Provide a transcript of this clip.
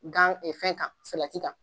Gan fɛn kan salati kan.